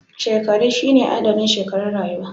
Shekaru shine adadin shekarun rayuwa